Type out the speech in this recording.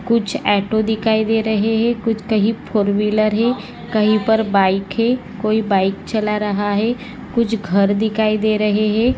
कुछ ऑटो दिखाई दे रहे है कुछ कही फोर व्हीलर है कही पर बाइक है कोई बाइक चला रहा है कुछ घर दिखाई दे रहे है।